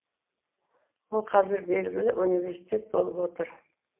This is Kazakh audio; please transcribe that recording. ол қазір белгілі университет болып отыр